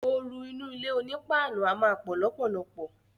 Ooru inú ilé oní páànù a má pò lópòlopò.